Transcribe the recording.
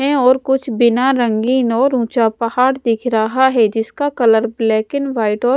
है और कुछ बिना रंगीन और ऊंचा पहाड़ दिख रहा है जिसका कलर ब्लैक एंड व्हाइट और--